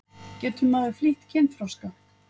Getur maður flýtt kynþroska?